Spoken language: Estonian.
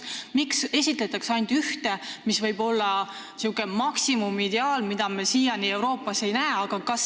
Miks esitletakse ainult ühte, mis võib olla selline maksimumideaal, mida me siiani Euroopas ei näe?